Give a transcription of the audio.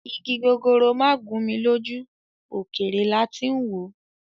Ìgi gogoro magun mí lójú ókéré láti n wò